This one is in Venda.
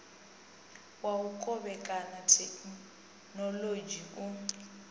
wa u kovhekana thekhinolodzhi u